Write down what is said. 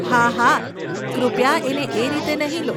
હાહા, કૃપયા એને એ રીતે નહીં લો.